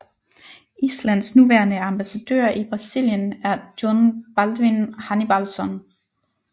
Islands nuværende ambassadør i Brasilien er Jón Baldvin Hannibalsson